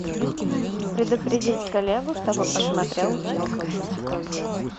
предупредить коллегу чтобы посмотрел чек